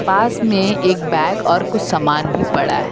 पास में एक बैग और कुछ सामान भी पड़ा है।